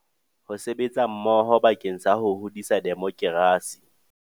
Ho sebetsa mmoho bakeng sa ho hodisa demokerasi.